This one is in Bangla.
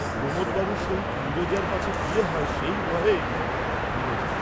"প্রমোদ বাবুর সহিত নীরজার পাছে বিয়ে হয়, সেই ভয়ে," হিরণ